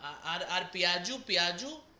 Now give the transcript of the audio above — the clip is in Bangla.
আর আর পিয়াজু পিয়াজু